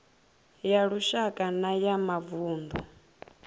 ya lushaka na ya mavunḓu